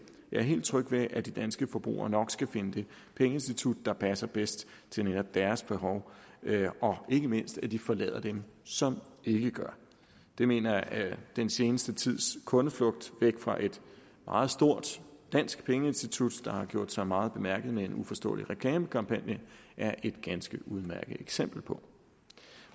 jeg er helt tryg ved at de danske forbrugere nok skal finde det pengeinstitut der passer bedst til netop deres behov og ikke mindst at de forlader dem som ikke gør det mener jeg den seneste tids kundeflugt væk fra et meget stort dansk pengeinstitut der har gjort sig meget bemærket med en uforståelig reklamekampagne er et ganske udmærket eksempel på